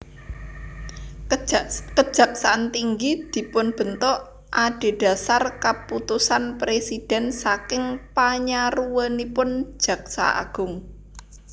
Kejaksaan tinggi dipunbentuk adhedhasar keputusan presiden saking panyaruwenipun Jaksa Agung